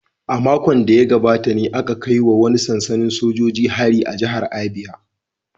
A makon da ya gabata ne aka kai wa wani sansanin sojoji hari a jihar Abia